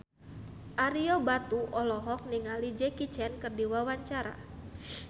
Ario Batu olohok ningali Jackie Chan keur diwawancara